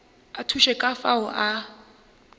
a thuše ka fao a